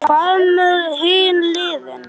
Hvað með hin liðin?